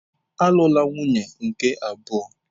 Alụla nwunye nke abụọ!